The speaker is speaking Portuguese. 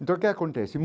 Então o que acontece?